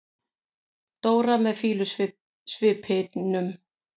Dóra með fýlusvipnum.